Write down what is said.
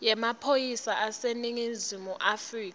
yemaphoyisa aseningizimu afrika